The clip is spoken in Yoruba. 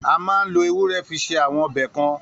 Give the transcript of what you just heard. A maá n lo ewúro fi se awọn ọbẹ kan.